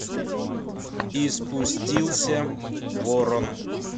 и спустился ворон